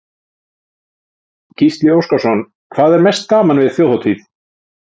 Gísli Óskarsson: Hvað er mest gaman við Þjóðhátíð?